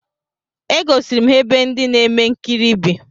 E gosiri m ha ebe ndị na-eme nkiri bi